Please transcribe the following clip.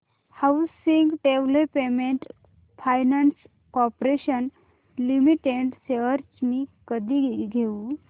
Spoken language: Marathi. housing development finance corporation limited shares मी कधी घेऊ